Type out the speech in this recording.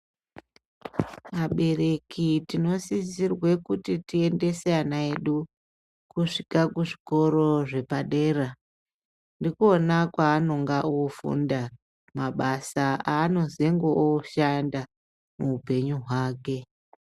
Abereki tinosisirwe kuti tiendese ana edu kusvika kuzvikora zvepadera. Ndikona kweanonga ofunda mabasa eanozenge oshanda muupenyu hwake.